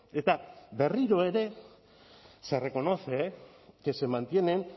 eta berriro ere se reconoce que se mantienen